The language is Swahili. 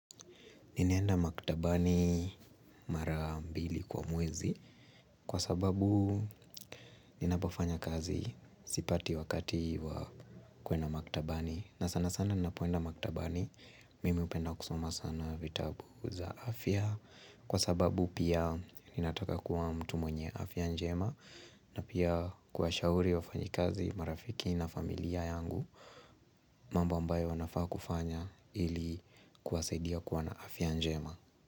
Ninaenda maktabani mara mbili kwa mwezi kwa sababu ninapofanya kazi sipati wakati wakati kwenda maktabani na sana sana napoenda maktabani mimi hupenda kusoma sana vitabu za afya Kwa sababu pia ninataka kuwa mtu mwenye afya njema na pia kuwashauri wafanyi kazi marafiki na familia yangu mambo ambayo wanafaa kufanya ili kuwasaidia kuwa na afya njema.